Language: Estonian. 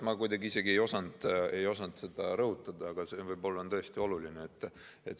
Ma isegi ei osanud seda rõhutada, aga see on võib-olla tõesti oluline.